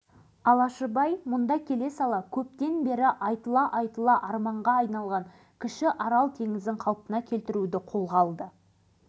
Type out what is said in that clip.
экономикалық жағынан тұралап экологиялық ахуалы қан қақсап тұрған арал ауданын басқаруға байланысты алашыбай баймырзаевтың есімі аталғанда елбасы оны